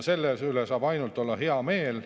Selle üle saab olla ainult hea meel.